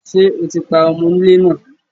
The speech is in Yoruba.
Ṣé o ti pa ọmo onílé náà?